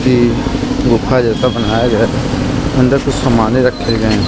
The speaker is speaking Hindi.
यह गुफा जैसा बनाया गया है अंदर कुछ समान रखे गए हैं ।